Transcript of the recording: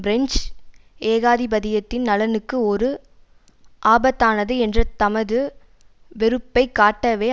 French ஏகாதிபத்தியத்தின் நலனுக்கு ஒரு ஆபத்தானது என்ற தமது வெறுப்பை காட்டவே